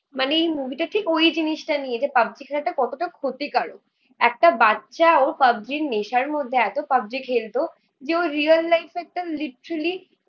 মানে এই মুভিটা ঠিক ওই জিনিসটা নিয়ে. যে পাবজি খেলাটা কতটা ক্ষতিকারক একটা বাচ্চা ও পাবজি র নেশার মধ্যে এত পাবজি খেলতো যে ও রিয়েল লাইফ এ একটা রিট্রিলি